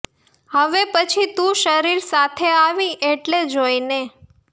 હવે પછી તું શરીર સાથે આવી એટલે તે જોઈને